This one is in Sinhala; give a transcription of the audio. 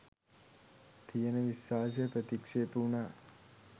තියෙන විශ්වාසය ප්‍රතික්ෂේප වුණා.